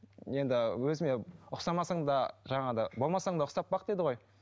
енді өзіме ұқсамасаң да жаңада болмасаң да ұқсап бақ дейді ғой